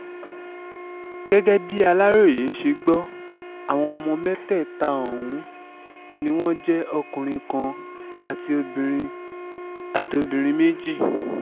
gẹ́gẹ́ bí aláròye ṣe gbọ́ àwọn ọmọ mẹ́tẹ̀ẹ̀ta ọ̀hún ni wọ́n jẹ́ ọkùnrin kan àti obìnrin àti obìnrin méjì